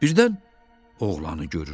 Birdən oğlanı görür.